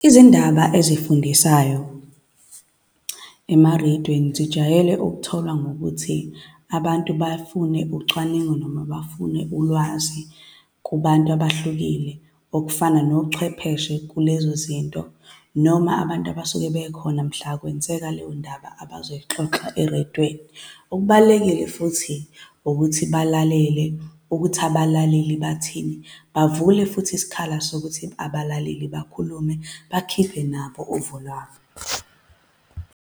Izindaba ezifundisayo emarediyweni zijwayele okutholwa ngokuthi abantu bafune ucwaningo noma bafune ulwazi kubantu abahlukile okufana nochwepheshe kule zozinto, noma abantu abasuke bekhona mhla kwenzeka leyo ndaba abazoyixoxa erediweni. Okubalulekile futhi, ukuthi balalele ukuthi abalaleli bathini. Bavule futhi isikhala sokuthi abalaleli bakhulume, bakhiphe nabo uvo lwabo.